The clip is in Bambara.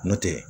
N'o tɛ